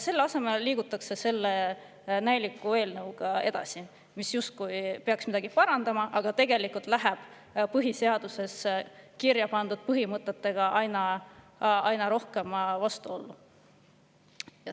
Selle asemel liigutakse edasi selle näiliku eelnõuga, mis justkui peaks midagi parandama, aga tegelikult läheb põhiseadusesse kirja pandud põhimõtetega aina rohkem vastuollu.